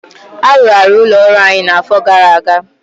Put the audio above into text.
Arụgharị ụlọ ọrụ anyị na afọ gara aga